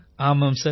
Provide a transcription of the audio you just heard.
ஆமாம் சார்